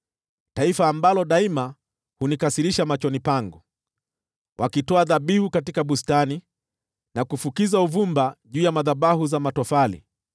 taifa ambalo daima hunikasirisha machoni pangu, wakitoa dhabihu katika bustani na kufukiza uvumba juu ya madhabahu za matofali;